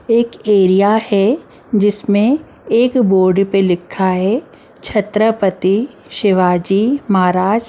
एक एरिया है जिसमें एक बोर्ड पे लिखा है छत्रपति शिवाजी महाराज ।